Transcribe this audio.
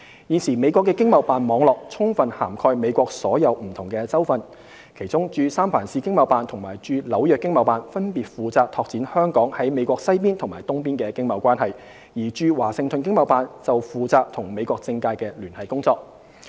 現時美國的經貿辦網絡充分涵蓋美國所有不同州份，其中駐三藩市經貿辦及駐紐約經貿辦分別負責拓展香港在美國西邊及東邊的經貿關係，而駐華盛頓經貿辦則負責與美國政界的聯繫工作。